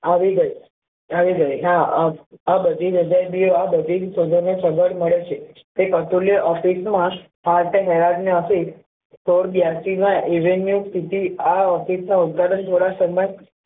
આવી ગયો આવી ગઈ હા આ બધી સગવડ મળે છે તે અતુલ્ય ઉદ્ઘાટન દ્વારા સન્માન